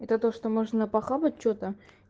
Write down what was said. это то что можно похавать что-то